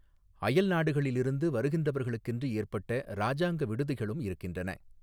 அயல் நாடுகளிலிருந்து வருகிறவர்களுக்கென்று ஏற்பட்ட ராஜாங்க விடுதிகளும் இருக்கின்றன.